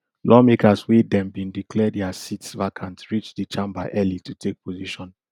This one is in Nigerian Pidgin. lawmakers wey dem bin declare dia seats vacant reach di chamber early to take position